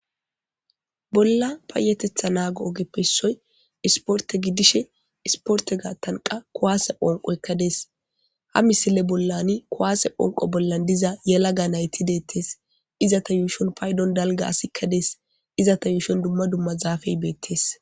bolla payetetha naago ogeppessoy isporte giddishe isporte gaattanqa kowaase phonqoekkadees ha misile bollani kuwaase phonqo bollan diza yalaga nayti deettes iza ta yuushon paydon dalga asikkadees iza ta yuushon dumma dumma zaafey beettes